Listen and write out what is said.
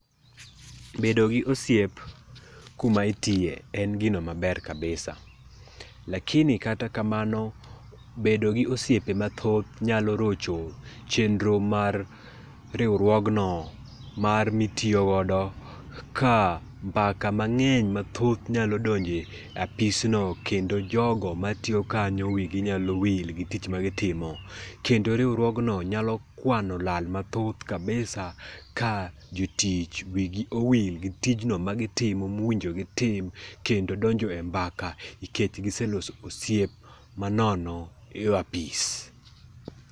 Bedo gi osiep kuma itiye en gino maber kabisa. Lakini kata kamano, bedo gi osiepe mathoth nyalo rocho chenro mar riwruogno mar mitiyo godo ka mbaka mang'eny mathoth nyalo donjo e apisno kendo jogo matiyo kanyo wigi nyalo wil gi tich magitimo. Kendo riwruogno nyalo kwano lal mathoth kabisa ka jotuch wigi owil gi tijno magitimo, mowinjo gitim kendo donhjo e mbaka nikech giseloso osiep manono e apis.